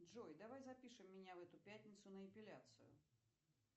джой давай запишем меня в эту пятницу на эпиляцию